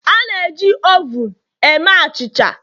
A na-eji ovun eme achịcha